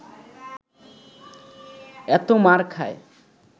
এত মার খায়